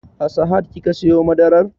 A sahad kika siyo madarar?